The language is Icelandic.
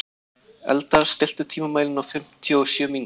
Eldar, stilltu tímamælinn á fimmtíu og sjö mínútur.